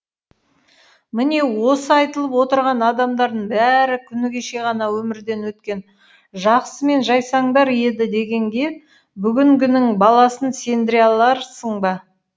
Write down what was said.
міне осы айтылып отырған адамдардың бәрі күні кеше ғана өмірден өткен жақсы мен жайсаңдар еді дегенге бүгінгінің баласын сендіре аларсың ба